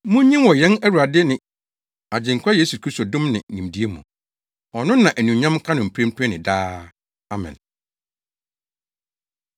Munyin wɔ yɛn Awurade ne Agyenkwa Yesu Kristo dom ne nimdeɛ mu. Ɔno na anuonyam nka no mprempren ne daa. Amen.